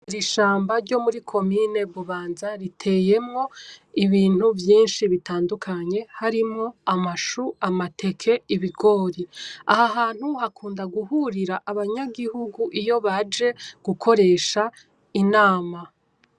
Ishamba ryo muri komine Bubanza ,riteyemwo ibintu vyinshi bitandukanye, harimwo amashu , amateke ,ibigori; aha hantu hakunda guhurira abanyagihugu iyo baje gukoresha inama.